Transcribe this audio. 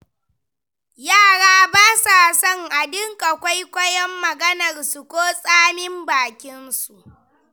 Yara ba sa son a dinga kwaikwayon maganarsu ko tsamin bakinsu.